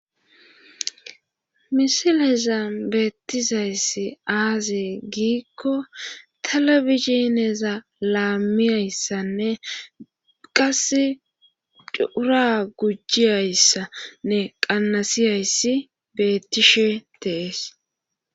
Misileza beettizayssi aaze giikko talabisineza laamiyayssanne qas cura gujjiyayssanne qannasiyayssi beettishe tees.